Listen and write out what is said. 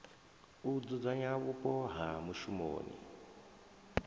u dzudzanya vhupo ha mushumoni